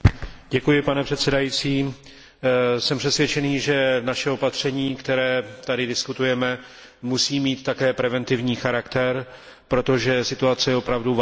Pane předsedající, jsem přesvědčený, že naše opatření, které tady diskutujeme, musí mít také preventivní charakter, protože situace je opravdu vážná.